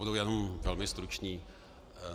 Budu jen velmi stručný.